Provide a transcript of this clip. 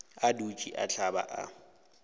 a dutše a hlaba a